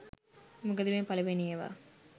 මොකද මේ පළවෙන ඒවා